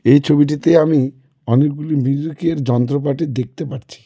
এই ছবিটিতে আমি অনেকগুলি মিউজিকের যন্ত্রপাতি দেখতে পারছি.